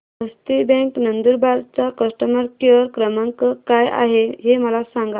हस्ती bank Nandurbar चा customer care क्रमांक काय आहे हे मला सांगा